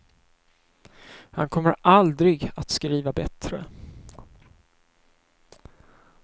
Han kommer aldrig att skriva bättre.